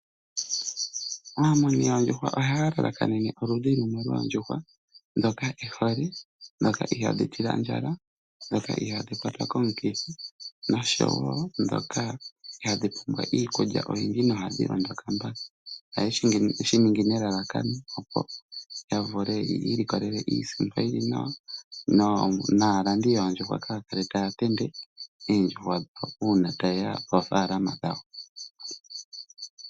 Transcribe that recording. Aamuni yoondjuhwa ohaya lalakanene oludhi lumwe lwoondjuhwa ndhoka e hole, ndhoka ihaadhi tila ondjala, ndhoka ihaadhi kwatwa komukithi noshowo ndhoka ihaadhi pumbwa iikulya oyindji nohadhi kuta mbala. Ohaye shi ningi nelalakano, opo yi ilikolele iisimpo yi li nawa naalandi yoondjuhwa kaya kale taya tende oondjuhwa uuna taye ya koofaalama dhawo.